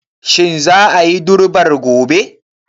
Shin za a yi durbar gobe?